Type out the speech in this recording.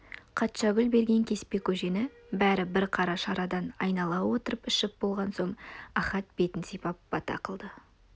қатшагүл берген кеспе көжені бәрі бір қара шарадан айнала отырып ішіп болған соң ахат бетін сипап бата қылды